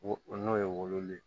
Wo n'o ye wolo ye